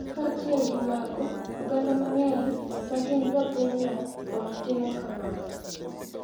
Kaachiel gi mago, oganda mang’eny ma gin jopinyno pod timo kamano,